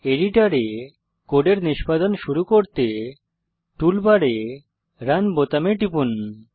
এডিটরে কোডের নিষ্পাদন শুরু করতে টুলবারে রান বোতামে টিপুন